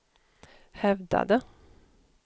hävdade